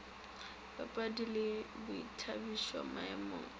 dipapadi le boithabišo maemong a